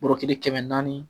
Bɔrɔ kelen kɛmɛ naani